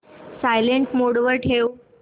silent mode वर ठेव